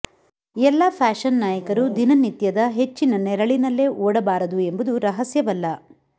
ಎಲ್ಲಾ ಫ್ಯಾಷನ್ ನಾಯಕರು ದಿನನಿತ್ಯದ ಹೆಚ್ಚಿನ ನೆರಳಿನಲ್ಲೇ ಓಡಬಾರದು ಎಂಬುದು ರಹಸ್ಯವಲ್ಲ